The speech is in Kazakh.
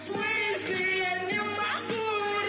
в смысле я не могу